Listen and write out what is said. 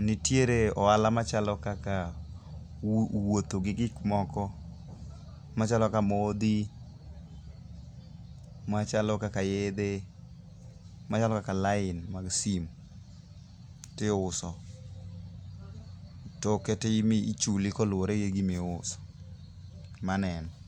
nitiere ohala machalo kaka wuotho gi gikmoko machalo kaka modhi, machalo kaka yedhe, machalo kaka lain mag sim, tiuso. Toke tichuli kaluore gi gimiuso. Mano e en.